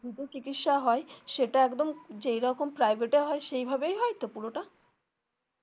free তে চিকিৎসা হয় সেটা একদম যেইরকম private এ হয় সেইভাবেই হয় তো পুরো টা.